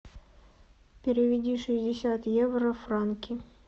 переведи шестьдесят евро в франки